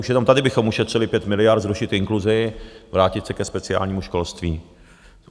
Už jenom tady bychom ušetřili 5 miliard zrušit inkluzi, vrátit se ke speciálnímu školství.